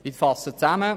Ich fasse zusammen: